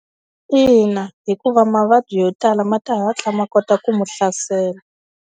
Ina hikuva mavabyi yo tala ma ta hatla ma kota ku mu hlasela.